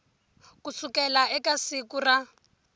ku sukela eka siku ra